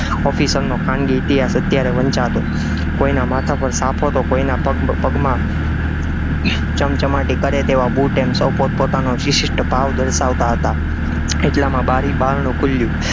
officer નો ખાનગી ઇતિહાસ અત્યારે વંચાતો, કોઈના માથા પર સાફો તો કોઈના પગપગમાં ચમચમાટી કરે તેવા બુટ એમ સૌ પોતપોતાનો શિશિષ્ટ ભાવ દર્શાવતા હતા, એટલામાં બારી બારણું ખુલ્યું,